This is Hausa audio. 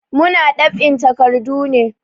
Muna ɗab'in takardu ne.